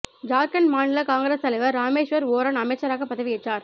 ஜார்க்கண்ட் மாநில காங்கிரஸ் தலைவர் ராமேஸ்வர் ஓரான் அமைச்சராக பதவி ஏற்றார்